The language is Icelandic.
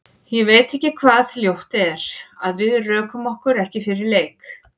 Ég veit ekki hvað ljótt er, að við rökum okkur ekki fyrir leik?